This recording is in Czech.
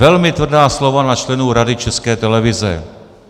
Velmi tvrdá slova na členy Rady České televize.